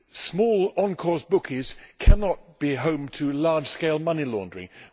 Small on course bookies cannot be home to large scale money laundering.